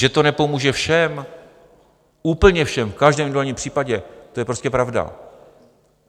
Že to nepomůže všem, úplně všem, v každém individuálním případě, to je prostě pravda.